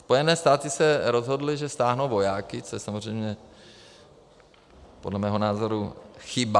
Spojené státy se rozhodly, že stáhnou vojáky, což je samozřejmě podle mého názoru chyba.